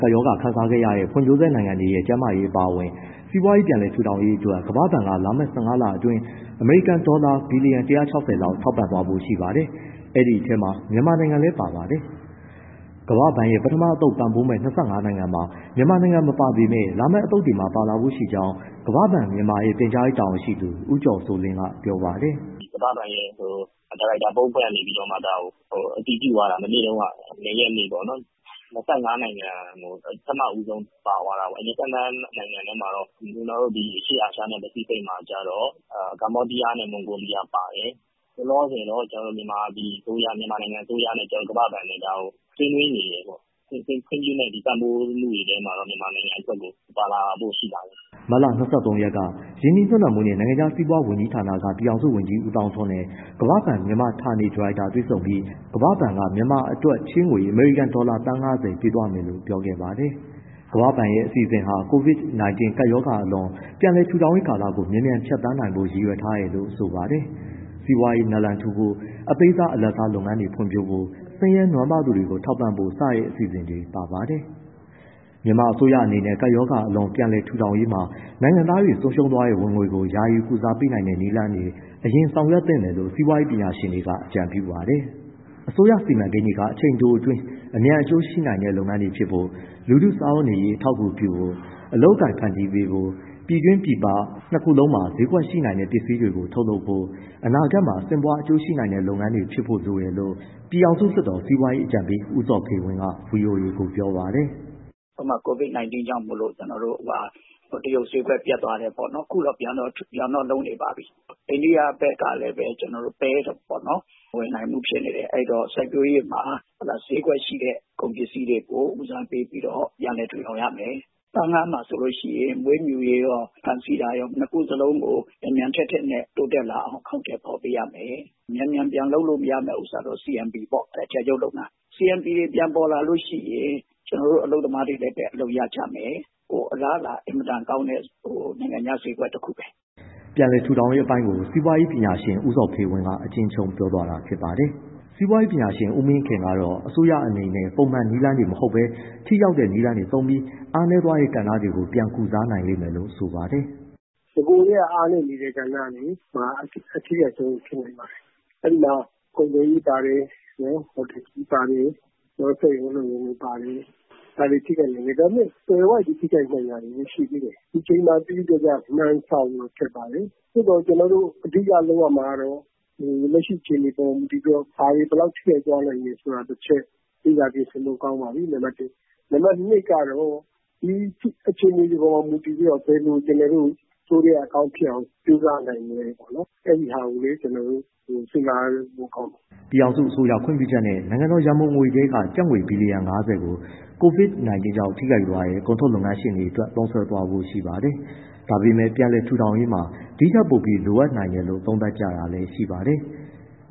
ကပ်ရောဂါခံစားရတဲ့ ဖွံ့ဖြိုးဆဲနိုင်ငံတွေရဲ့ ကျန်းမာရေးအပါအဝင် စီးပွားရေး ပြန်လည်ထူထောင်ရေးအတွက် ကမ္ဘာ့ဘဏ်က လာမယ့် ၁၅ လအတွင်း အမေရိကန်ဒေါ်လာ ဘီလီယံ ၁၆၀ လောက် ထောက်ပံ့သွားဖို့ ရှိပါတယ်။ ဒီထဲမှာ မြန်မာနိုင်ငံလည်းပါ ပါတယ်။ ကမ္ဘာ့ဘဏ်ရဲ့ ပထမအသုတ်ပံ့ပိုးမယ့် ၂၅ နိုင်ငံမှာ မြန်မာနိုင်ငံ မပါပေမဲ့ လာမယ့် အသုတ်တွေမှာ ပါလာဖို့ ရှိကြောင်း ကမ္ဘာ့ဘဏ်မြန်မာရဲ့ ပြန်ကြားရေး တာဝန်ရှိသူ ဦးကျော်စိုးလင်းက ပြောပါတယ်။ “ကမ္ဘာ့ဘဏ်ရဲ့ ဒါရိုက်တာ ဘုတ်အဖွဲ့ကနေ ဒါကိုအတည်ပြုသွားတာ မနေ့က ၂ ရက်နေ့ပေါ့နော်... ၂၅ နိုင်ငံ ပထမဦးဆုံး ပါသွားတာပေါ့။ အဲဒီ ၂၅ နိုင်ငံထဲမှာတော့ ကျနော်တို့ အရှေ့အာရှနဲ့ ပစိဖိတ်မှာတော့ ကမ္ဘောဒီယားနဲ့ မွန်ဂိုးလီယား ပါတယ်။ လောလောဆယ်တော့ ကျနော်တို့ မြန်မာအစိုးရနဲ့ ကမ္ဘာ့ဘဏ်နဲ့ ဒါကို ဆွေးနွေးနေတယ်ပေါ့။ ခွင့်ပြုမယ့် ပံ့ပိုးမှုတွေထဲမှာတော့ မြန်မာနိုင်ငံ ပါလာဖို့ ရှိပါတယ်။” မတ်လ ၂၃ ရက်က ရင်းနှီးမြှုပ်နှံမှုနှင့် နိုင်ငံခြားစီးပွားဌာနက ပြည်ထောင်စုဝန်ကြီး ဦးသောင်းထွန်းနဲ့ ကမ္ဘာ့ဘဏ်မြန်မာဌာနေ ဒါရိုက်တာ တွေ့ဆုံပြီး ကမ္ဘာ့ဘဏ်က မြန်မာအတွက် ချေးငွေအမေရိကန်ဒေါ်လာ သန်း ၅၀ ပေးသွားမယ်လို့ ပြောခဲ့ပါတယ်။ ကမ္ဘာ့ဘဏ်ရဲ့ အစီအစဉ်ဟာ COVID-19 ကပ်ရောဂါအလွန် ပြန်လည်ထူထောင်ရေးကိုကာလကို မြန်မြန်ဖြတ်သန်းနိုင်ဖို့ ရည်ရွယ်ထားတာလို့ဆိုပါတယ်။ စီးပွားရေးနာလံထူဖို့၊ အသေးစား၊ အလတ်စားလုပ်ငန်းတွေဖွံ့ဖြိုးဖို့၊ ဆင်းရဲနွမ်းပါးသူတွေကို ထောက်ပံ့ဖို့စတဲ့ အစီအစဉ်တွေပါ ပါတယ်။ မြန်မာအစိုးရအနေနဲ့ ကပ်ရောဂါအလွန် ပြန်လည်ထူထောင်ရေးမှာ နိုင်ငံသားတွေ ဆုံးရှုံးသွားတဲ့ ဝင်ငွေကို ယာယီကုစားပေးတဲ့ နည်းလမ်းတွေကို အရင်ဆောင်ရွက်သင့်တယ်လို့ စီးပွားရေးပညာရှင်တွေက အကြံပေးပြုပါတယ်။ အစိုးရစီမံကိန်းတွေက အချိန်တိုအတွင်း အမြန်အကျိုးရှိနိုင်တဲ့ လုပ်ငန်းတွေဖြစ်ဖို့၊ လူထုစားဝတ်နေရေး အထောက်အကူပြုဖို့၊ အလုပ်အကိုင်ဖန်တီးပေးဖို့၊ ပြည်တွင်းပြင်ပ နှစ်ခုလုံးမှာ ဈေးကွက်ရှိတဲ့ ပစ္စည်းတွေ ထုတ်လုပ်ဖို့၊ အနာဂတ်မှာ ဆင့်ပွားအကျိုးရှိနိုင်တဲ့လုပ်ငန်းတွေဖြစ်ဖို့ လိုတယ်လို့ ပြည်ထောင်စုလွှတ်တော် စီးပွားရေးအကြံပေး ဦးဇော်ဖေဝင်းက ဗွီအိုအေကို ပြောပါတယ်။ “ဥပမာ COVID-19 ကြောင့် ကျနော်တို့ တရုတ်ဈေးကွက်ပျက်သွားတယ်ပေါ့နော်။ အခုတော့ ပြန်တော့လုပ်နေပါပြီ။ အိန္ဒိယဘက်ကလည်းပဲပေါ့နော်... မဝယ်နိုင်ဘူးဖြစ်နေတယ်။ အဲဒီတော့ စိုက်ပျိုးရေးမှာ ဈေးကွက်ရှိတဲ့ ကုန်ပစ္စည်းတွေကို ဦးစားပေးပြီးတော့ ပြန်လည်ထူထောင်ရမယ်။ သား၊ ငါး မှာဆိုရင် မွေးမြူရေးရော ဖမ်းဆီးတာရော မြန်မြန်တိုးတက်လာအောင် အကောင်အထည်ဖော်ပေးရမယ်။ မြန်မြန်ပြန်လုပ်လို့ရမယ့်ဟာကတော့ CMP ပေါ့ အထည်ချုပ်လုပ်ငန်း။ CMP တွေ ပြန်ပေါ်လာရင် ကျနော်တို့ အလုပ်သမားတွေလည်း အလုပ်ရကြမယ်။ အလားအလာ အင်မတန်ကောင်းတဲ့ နိုင်ငံခြား ဈေးကွက်တခုပဲ။” ပြန်လည်ထူထောင်ရေးအပိုင်းကို စီးပွားရေးပညာရှင် ဦးဇော်ဖေဝင်းက အကျဉ်းချုံး ပြောပြသွားတာပါ။ စီးပွားရေးပညာရှင် ဦးမင်းခင်ကတော့ အစိုးရအနေနဲ့ ပုံမှန်နည်းလမ်း မဟုတ်ဘဲ ထိရောက်တဲ့ နည်းလမ်းကိုသုံးပြီး အားနည်းသွားတဲ့ ကဏ္ဍတွေကို ပြန်ကုစားနိုင်လိမ့်မယ်လို့ ဆိုပါတယ်။ “နဂိုကတည်းက အားနည်းနေတဲ့ ကဏ္ဍတွေမှာ အထိခိုက်ဆုံးဖြစ်နိုင်ပါတယ်။ အဲဒီမှာ ကုန်သွယ်ရေးပါတယ်၊ ဟိုတယ်ခရီးပါတယ်၊ စက်ရုံအလုပ်ရုံတွေ ပါတယ်။ ဒါပေမဲ့ သွယ်ဝိုက်ပြီး ထိခိုက်နိုင်တာတွေလည်းရှိသေးတယ်။ ဒီအချိန်မှာ သိသိသာသာမှန်းဆလို့ ခက်ပါတယ်။ သို့သော် အဓိက လုပ်ရမှာကတော့ လက်ရှိအခြေအနေပေါ်မှာ မူတည်ပြီးတော့ ဘာတွေဘယ်လောက်ထိခိုက် သွားနိုင်တယ်ဆိုတာ တချက် လေ့လာပြင်ဆင်ဖို့ ကောင်းပါပြီ။ နံပတ် ၂ ကတော့ ဒီအခြေအနေတွေပေါ်မှာ မူတည်ပြီးတော့ ဘယ်လိုကျနော်တို့ အဆိုးထဲက အကောင်းဖြစ်အောင် ကြိုးစားနိုင်မလဲ အဲဒီဟာကိုလည်း ကျနော်တို့ စဉ်းစားဖို့ကောင်းတယ်။” ပြည်ထောင်စုအစိုးရ ခွင့်ပြုချက်နဲ့ နိုင်ငံတော်ရန်ပုံငွေထဲက ကျပ်ငွေ ဘီလီယံ ၅၀ ကို COVID-19 ကြောင့်ထိခိုက်သွားတဲ့ ကုန်ထုတ်လုပ်ငန်းရှင်တွေအတွက် သုံးစွဲသွားဖို့ရှိပါတယ်။ ဒါပေမဲ့ ပြန်လည်ထူထောင်ရေးမှာ ဒီပမာဏထက် ပိုပြီး လိုအပ်နိုင်တယ်လို့လည်း သုံးသပ်ကြတာရှိပါတယ်။